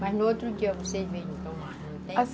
Mas no outro dia vocês vêm tomar, não tem?